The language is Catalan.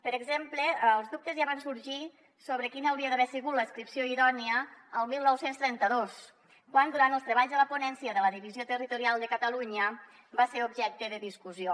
per exemple els dubtes ja van sorgir sobre quina hauria d’haver sigut l’adscripció idònia el dinou trenta dos quan durant els treballs de la ponència de la divisió territorial de catalunya va ser objecte de discussió